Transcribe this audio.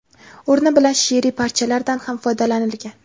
o‘rni bilan she’riy parchalardan ham foydalanilgan.